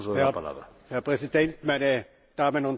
Herr Präsident, meine Damen und Herren!